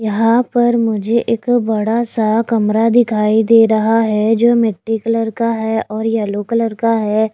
यहां पर मुझे एक बड़ा सा कमरा दिखाई दे रहा है जो मिट्टी कलर का है और येलो कलर का है।